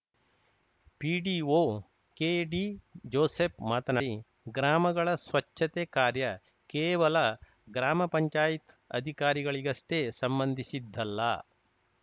PDO K D Joseph ಮಾತನಾಡಿ ಗ್ರಾಮಗಳ ಸ್ವಚ್ಛತೆ ಕಾರ್ಯ ಕೇವಲ ಗ್ರಾಮ ಪಂಚಾಯತ್ ಅಧಿಕಾರಿಗಳಿಗಷ್ಟೇ ಸಂಬಂಧಿಸಿದ್ದಲ್ಲ